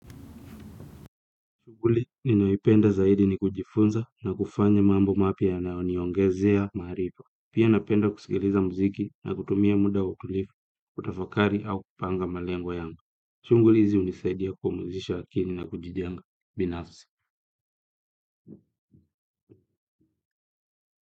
Shuguli, ninayoipenda zaidi ni kujifunza na kufanya mambo mapya yanaoniongezea marifa. Pia napenda kusikiliza muziki na kutumia muda wa utulifu, kutafakari au kupanga malengo yanga. Shunguli hizi unisaidia kupumuzisha akili na kujijenga binafisi.